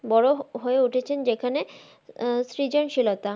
বড় হয়ে উঠেছেন যেখানে আহ সৃজনশীলতা